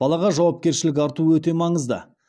балаға жауапкершілік арту өте маңызды